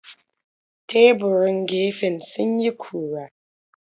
Teburan gefen sun yi ƙura.